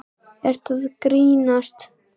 Ertu að grínast?!